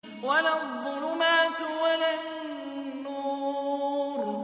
وَلَا الظُّلُمَاتُ وَلَا النُّورُ